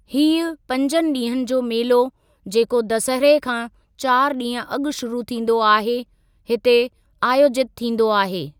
हीअ पंजु डीं॒हंनि जो मेलो, जेको दसहरे खां चारि ॾींहुं अॻु शुरू थींदो आहे, हिते आयोजितु थींदो आहे।